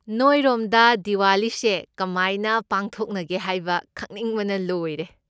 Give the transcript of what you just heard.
ꯅꯣꯏꯔꯣꯝꯗ ꯗꯤꯋꯥꯂꯤꯁꯦ ꯀꯃꯥꯏꯅ ꯄꯥꯡꯊꯧꯛꯅꯒꯦ ꯍꯥꯏꯕ ꯈꯪꯅꯤꯡꯕꯅ ꯂꯣꯏꯔꯦ꯫